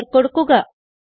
enter കൊടുക്കുക